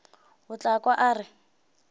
o tla kwa a re